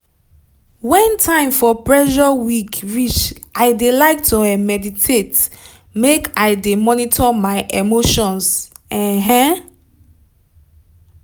when time for pressure week reach i de like to um meditate make i monitor my emotions. um